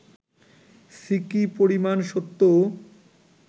সিকি পরিমাণ সত্যও